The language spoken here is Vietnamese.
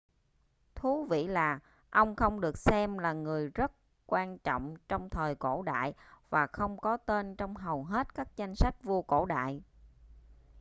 thú vị là ông không được xem là người rất quan trọng trong thời cổ đại và không có tên trong hầu hết các danh sách vua cổ đại